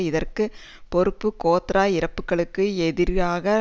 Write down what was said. இதற்கு பொறுப்பு கோத்ரா இறப்புக்களுக்கு எதிராக